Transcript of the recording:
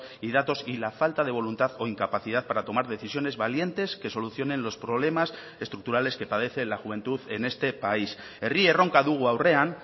y datos y la falta de voluntad o incapacidad para tomar decisiones valientes que solucionen los problemas estructurales que padece la juventud en este país herri erronka dugu aurrean